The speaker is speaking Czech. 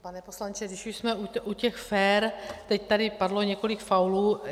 Pane poslanče, když už jsme u těch "fér", teď tady padlo několik faulů.